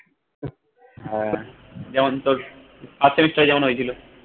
হ্যা যেমন তোর first semester এ যেমন হয়েছিল